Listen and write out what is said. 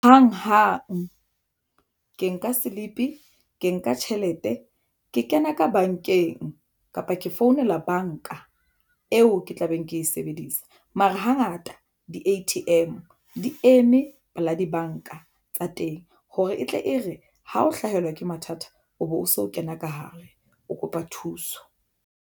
Hang hang ke nka slip ke nka tjhelete ke kena ka bankeng, kapa ke founela banka eo ke tla beng ke e sebedisa mara hangata di-A_T_M di eme pela dibanka tsa teng, hore e tle e re ha o hlahelwa ke mathata o be o so o kena ka hare o kopa thuso.